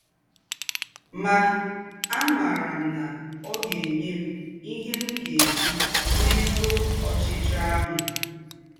Mà, àmárà m̀ ná ọ́ gá-ènyè m ihe m̀ gá-èjí méjùọ́ ọ̀chíchíọ́ àhụ́. ”